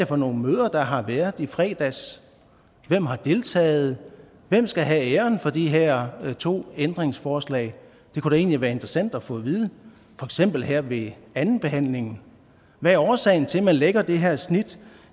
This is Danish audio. for nogle møder der har været i fredags hvem har deltaget hvem skal have æren for de her to ændringsforslag det kunne da egentlig være interessant at få at vide for eksempel her ved andenbehandlingen hvad er årsagen til at man lægger det her snit